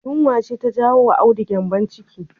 Yunwa ce ta jawo wa Audu gyanbon ciki